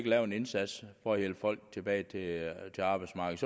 lave en indsats for at hjælpe folk tilbage til arbejdsmarkedet